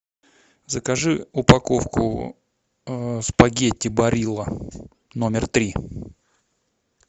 закажи упаковку спагетти барилла номер три